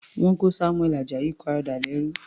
Wọ́n kó Samuel Ajayi Crowther lẹ́rú.